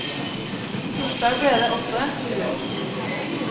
Torsdag ble det også en tur ut.